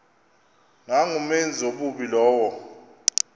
nangumenzi wobubi lowo